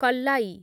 କଲ୍ଲାୟୀ